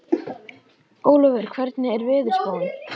Ólíver, hvernig er veðurspáin?